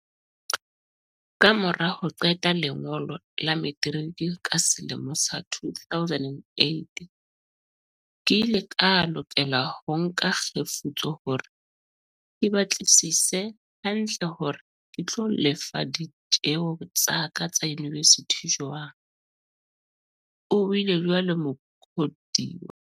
"Ka mora ho qeta lengolo la metiriki ka selemo sa 2008, ke ile ka lokela ho nka kgefutso hore ke batlisise hantle hore ke tlo lefa ditjeo tsa ka tsa yunivesithi jwang," o buile jwalo Mukhodiwa.